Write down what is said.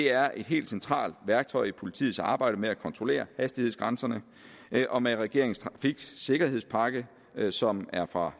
er et helt centralt værktøj i politiets arbejde med at kontrollere hastighedsgrænserne og med regeringens trafiksikkerhedspakke som er fra